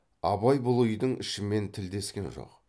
абай бұл үйдің ішімен тілдескен жоқ